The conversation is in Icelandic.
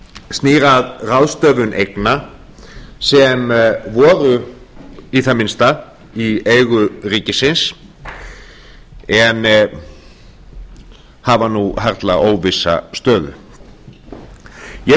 snýr að ráðstöfun eigna sem voru í það minnsta í eigu ríkisins en hafa nú harla óvissa stöðu ég